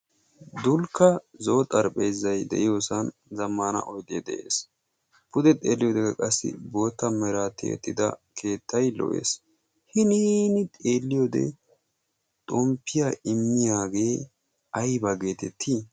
Dulkka zo"o xarapheezzayi de"iypsan zammaana oydee de"es. Pude baggi xeelliyodekka qassi bootta meran tiyettida keettayi lo"es. Hiniini xeelliyode xomppiya immiyagee ayba geetettii?